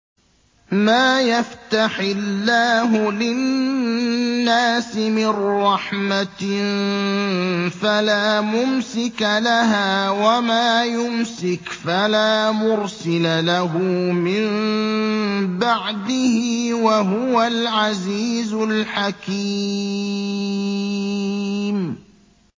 مَّا يَفْتَحِ اللَّهُ لِلنَّاسِ مِن رَّحْمَةٍ فَلَا مُمْسِكَ لَهَا ۖ وَمَا يُمْسِكْ فَلَا مُرْسِلَ لَهُ مِن بَعْدِهِ ۚ وَهُوَ الْعَزِيزُ الْحَكِيمُ